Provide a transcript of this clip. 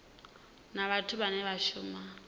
na vhathu vhane vha shuma